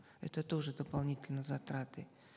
это тоже дополнительные затраты